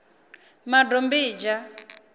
madombidzha